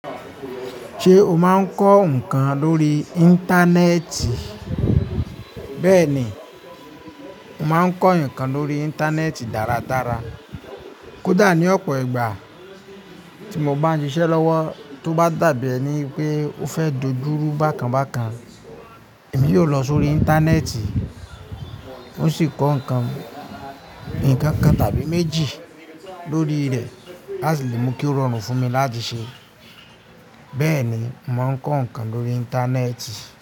Ṣé o máa ń kọ́ nǹkan lórí Íńtánẹ́ẹ̀tì? Bẹ́ẹ̀ni, mà á ń kọ ńkan lórí Íńtánẹ́ẹ̀tì dáradára. Kódà ní ọ̀pọ̀ ìgbà tí mọ bá ń ṣiṣẹ́ lọ́wọ́, tó bá dàbí ẹni pé ó fẹ́ dojúru bákan bákan, èmi yóò lọ sórí Íńtánẹ́ẹ̀tì, ó sì kọ ńkan, ńkankan tàbí méjì lórí rẹ̀ láti lè mú kí ó rọrùn fún mi láti ṣẹ. Bẹ́ẹ̀ni, mọ maá ń kọ ńkan lórí Íńtánẹ́ẹ̀tì.